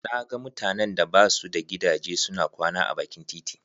Na ga mutanen da ba su da gidaje suna kwana a bakin titi.